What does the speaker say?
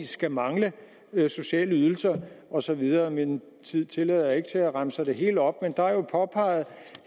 skal mangle sociale ydelser og så videre min tid tillader ikke at jeg remser det hele op men der er jo påpeget